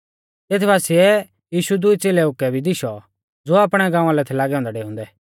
तेत बासिऐ यीशु दुई च़ेलेउ कै भी दिशौ ज़ो आपणै गाँवा लै थै लागै औन्दै डेउंदै